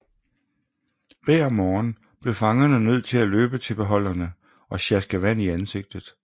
Hver morgen blev fangerne nødt til at løbe til beholderne og sjaske vandet i ansigtet